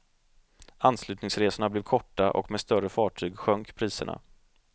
Anslutningsresorna blev korta och med större fartyg sjönk priserna.